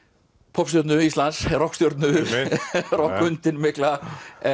poppstjörnu Íslands rokkhundinn mikla